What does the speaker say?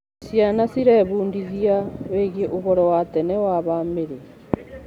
Ciana cirebundithia wĩgiĩ ũhoro wa tene wa bamĩrĩ.